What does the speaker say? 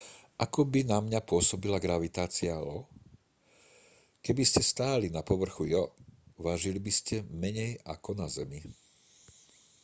ako by na mňa pôsobila gravitácia io keby ste stáli na povrchu io vážili by ste menej ako na zemi